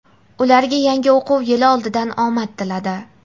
ularga yangi o‘quv yili oldidan omad tiladi.